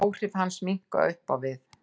Áhrif hans minnka upp á við.